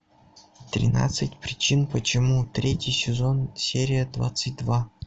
тринадцать причин почему третий сезон серия двадцать два